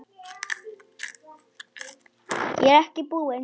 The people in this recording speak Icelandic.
Ég er ekki búinn.